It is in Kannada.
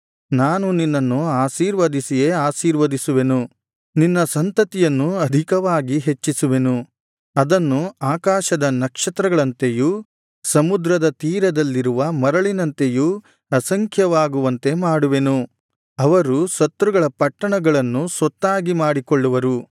ನಾನು ನಿನ್ನನ್ನು ಆಶೀರ್ವದಿಸಿಯೇ ಆಶೀರ್ವದಿಸುವೆನು ನಿನ್ನ ಸಂತತಿಯನ್ನು ಅಧಿಕವಾಗಿ ಹೆಚ್ಚಿಸುವೆನು ಅದನ್ನು ಆಕಾಶದ ನಕ್ಷತ್ರಗಳಂತೆಯೂ ಸಮುದ್ರ ತೀರದಲ್ಲಿರುವ ಮರಳಿನಂತೆಯೂ ಅಸಂಖ್ಯವಾಗುವಂತೆ ಮಾಡುವೆನು ಅವರು ಶತ್ರುಗಳ ಪಟ್ಟಣಗಳನ್ನು ಸ್ವತ್ತಾಗಿ ಮಾಡಿಕೊಳ್ಳುವರು